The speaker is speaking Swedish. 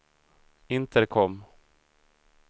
intercom